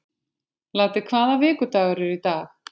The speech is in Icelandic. Laddi, hvaða vikudagur er í dag?